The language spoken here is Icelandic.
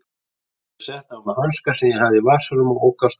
Ég setti á mig hanska sem ég hafði í vasanum og ók af stað.